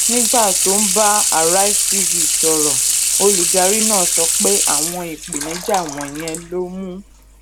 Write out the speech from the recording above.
nígbà tó ń bá arise tv sọrọ olùdarí náà sọ pé àwọn ìpèníjà wọnyẹn ló mú